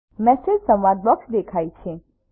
message સંવાદ box દેખાય છે